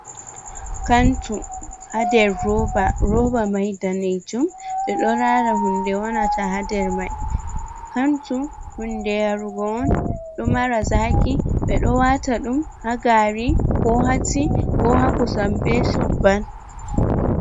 Kantu ha nder roba. Roba mai dane jum. Ɓeɗo lara hunde wonata ha nder mai. Kantu hunde yarugu on ɗo mara zaki, ɓe ɗo wata ɗum ha gari, ko ha ti, ko ha kosam be chobbal.